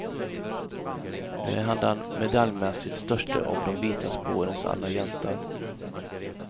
Nu är han den medaljmässigt störste av de vita spårens alla hjältar.